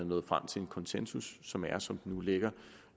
nået frem til en konsensus som er som den nu ligger